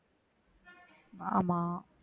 ஆமா